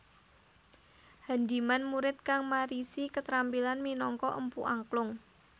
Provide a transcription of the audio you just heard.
Handiman murid kang marisi ketrampilan minangka empu angklung